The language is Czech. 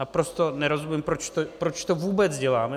Naprosto nerozumím, proč to vůbec děláme.